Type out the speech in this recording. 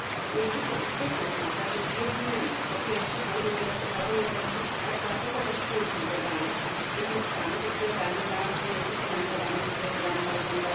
Niezwykle istotne są także dwie zmiany po pierwsze, dążenie do prowadzenia polityki otwartego dostępu do danych uzyskanych lub zebranych w ramach projektów finansowanych z programu Horyzont